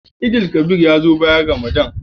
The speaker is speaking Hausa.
Eid_el Kabir ya zo bayan Ramadan.